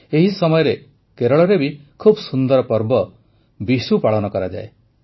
ଏହି ସମୟରେ କେରଳରେ ବି ଖୁବ୍ ସୁନ୍ଦର ପର୍ବ ବିଶୁ ପାଳନ କରାଯାଏ